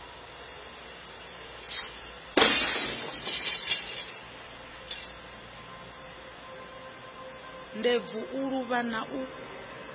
ndebvu u luvha na u